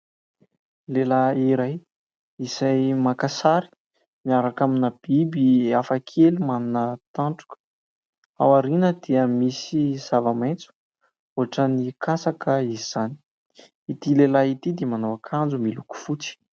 Lehilahy iray izay maka sary miaraka amina biby hafakely manana tandroka. Ao aoriana dia misy zava-maitso ohatran'ny katsaka izany. Ity lehilahy ity dia manao akanjo miloko fotsy.